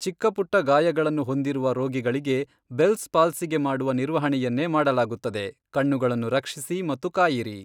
ಚಿಕ್ಕ ಪುಟ್ಟ ಗಾಯಗಳನ್ನು ಹೊಂದಿರುವ ರೋಗಿಗಳಿಗೆ, ಬೆಲ್ಸ್ ಪಾಲ್ಸಿಗೆ ಮಾಡುವ ನಿರ್ವಹಣೆಯನ್ನೇ ಮಾಡಲಾಗುತ್ತದೆ, ಕಣ್ಣುಗಳನ್ನು ರಕ್ಷಿಸಿ ಮತ್ತು ಕಾಯಿರಿ.